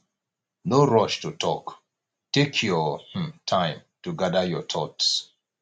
no rush to talk take your um time to gather your thoughts